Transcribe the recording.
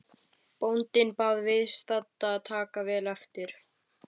Bóndinn bað viðstadda að taka vel eftir.